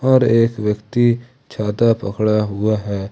पर एक व्यक्ति छाता पकड़ा हुआ है।